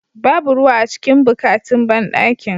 Babu ruwa a cikin bukatin banɗakin.